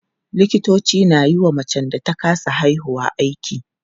Likitoci na yiwa macen da ta kasa haihuwa aiki.